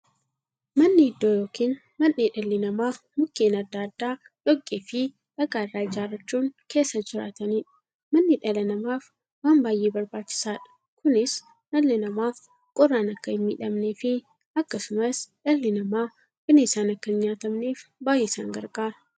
Manni iddoo yookiin mandhee dhalli namaa Mukkeen adda addaa, dhoqqeefi dhagaa irraa ijaarachuun keessa jiraataniidha. Manni dhala namaaf waan baay'ee barbaachisaadha. Kunis, dhalli namaa qorraan akka hinmiidhamneefi akkasumas dhalli namaa bineensaan akka hinnyaatamneef baay'ee isaan gargaara.